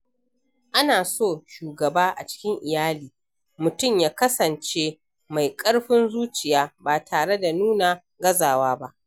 A na so shugaba a cikin iyali, mutum ya kasance mai ƙarfin zuciya ba tare da nuna gazawa ba.